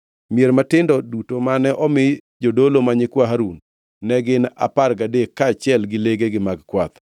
Mier matindo duto mane omi jodolo ma nyikwa Harun, ne gin apar gadek, kaachiel gi legegi mag kwath.